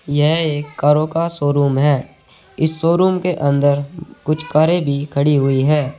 यह एक कारों का शोरूम है इस शोरूम के अंदर कुछ कारे भी खड़ी हुई है।